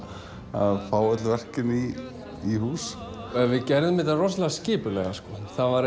að fá öll verkin í í hús en við gerðum þetta rosalega skipulega sko